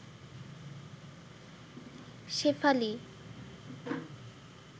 Shefali